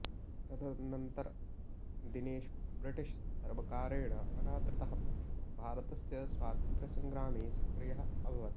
तदनन्तरदिनेषु British सर्वकारेण अनादृतः पक्षः भारतस्य स्वातन्त्र्यसङ्ग्रामे सक्रियः अभवत्